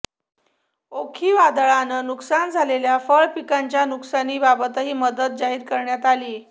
ओखी वादळानं नुकसान झालेल्या फळ पिकांच्या नुकसानीबाबतही मदत जाहीर करण्यात आलीय